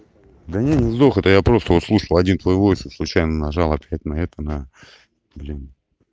да не не сдох это я просто услышал один твои войс и случайно нажал ответ на это на блин